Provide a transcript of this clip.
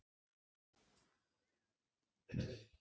Mætti óboðinn í lokahóf